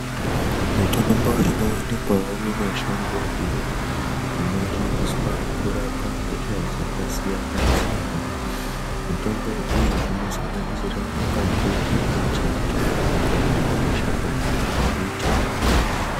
Mitombo inowanikwawo mumashango iyo inoshandiswa kurapa hosha dzakasiyana siyana mitombo iyi inosanganisira makwandi embiti kana mashakani embiti.